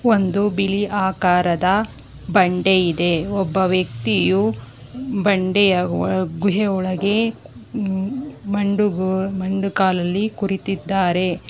ಒಂದು ಬಿಳಿ ಆಕಾರದ ಬಂಡೆ ಇದೆ ಒಬ್ಬ ವ್ಯಕ್ತಿಯು ಬಂಡೆಯ ವ ಗುಹೆ ಒಳಗೆ ಮನ್ ಮಂಡು ಕಾಲಲ್ಲಿ ಕುರಿತಿದ್ದಾರೆ.